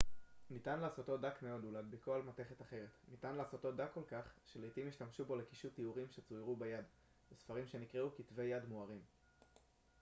ניתן לעשותו דק מאוד ולהדביקו על מתכת אחרת ניתן לעשותו דק כל כך שלעיתים השתמשו בו לקישוט איורים שצוירו ביד בספרים שנקראו כתבי יד מוארים